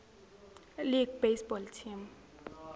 league baseball team